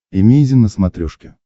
эмейзин на смотрешке